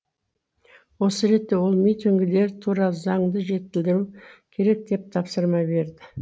осы ретте ол митингілер туралы заңды жетілдіру керек деп тапсырма берді